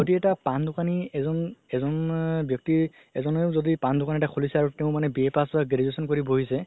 যদি এটা পান দুকানি এজন ব্যাক্তি এজনেও যদি পান দুকান এটা খুলিছে আৰু তেওঁ মানে BA pass বা graduation কৰি বহিছে